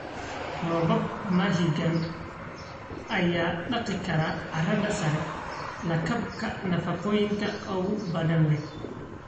Roobab mahiigaan ah ayaa dhaqi kara carrada sare, lakabka nafaqooyinka ugu badan leh.